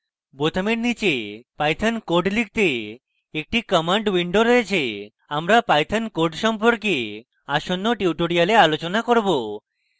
বোতামের নীচে python code লিখতে একটি command window রয়েছে আমরা python code সম্পর্কে আসন্ন tutorials আলোচনা করব